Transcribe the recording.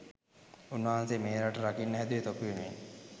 උන් වහන්සේ මේ රට රකින්න හැදුවෙ තොපි වෙනුවෙන්.